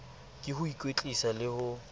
ke ho ikwetlisa le ho